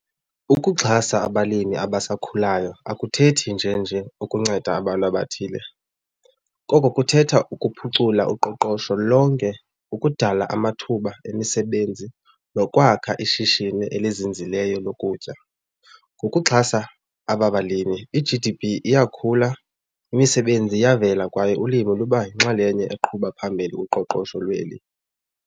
Ukuxhasa abalimi abasakhulayo akuthethi nje nje ukunceda abantu abathile, koko kuthetha ukuphucula uqoqosho lonke, ukudala amathuba emisebenzi nokwakha ishishini elizinzileyo lokutya. Ngokuxhasa aba balimi i-G_D_P iyakhula, imisebenzi iyavela kwaye ulimo luba yinxalenye eqhuba phambili kuqoqosho lweli.